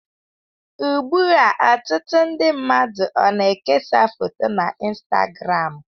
Ugbu a, ọtụtụ ndi mmadụ ona-ekesa foto na Instagramu.